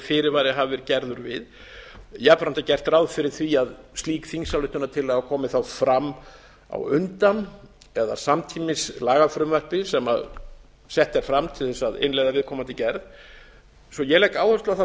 fyrirvari hafi verið gerður við jafnframt er gert ráð fyrir að slík þingsályktunartillaga komi þá fram á undan eða samtímis lagafrumvarpi sem sett er fram til að innleiða viðkomandi gerð svo ég legg áherslu á